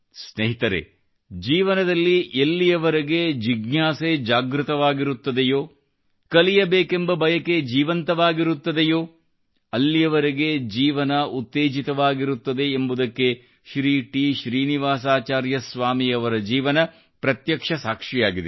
ಸ್ನೇಹಿತರೆ ಜೀವನದಲ್ಲಿ ಎಲ್ಲಿಯವರೆಗೆ ಜಿಜ್ಞಾಸೆ ಜಾಗೃತವಾಗಿರುತ್ತದೆಯೋ ಕಲಿಯಬೇಕೆಂಬ ಬಯಕೆ ಜೀವಂತವಾಗಿರುತ್ತದೆಯೋ ಅಲ್ಲಿವರೆಗೆ ಜೀವನ ಉತ್ತೇಜಿತವಾಗಿರುತ್ತದೆ ಎಂಬುದಕ್ಕೆ ಶ್ರೀ ಟಿ ಶ್ರೀನಿವಾಸಾಚಾರ್ಯ ಸ್ವಾಮಿ ಅವರ ಜೀವನ ಪ್ರತ್ಯಕ್ಷ ಸಾಕ್ಷಿಯಾಗಿದೆ